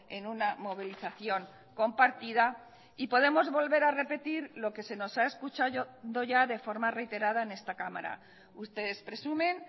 en una movilización compartida y podemos volver a repetir lo que se nos ha escuchado ya de forma reiterada en esta cámara ustedes presumen